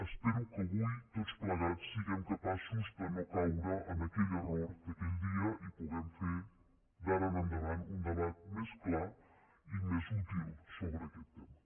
espero que avui tots plegats siguem capaços de no caure en aquell error d’aquell dia i puguem fer d’ara en endavant un debat més clar i més útil sobre aquest tema